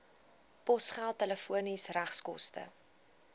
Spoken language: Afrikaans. posgeld telefoon regskoste